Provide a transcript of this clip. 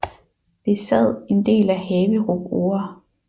Besad en del af Haverup Ore